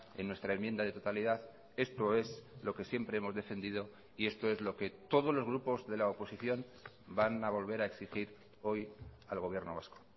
en nuestra enmienda de totalidad esto es lo que siempre hemos defendido y esto es lo que todos los grupos de la oposición van a volver a exigir hoy al gobierno vasco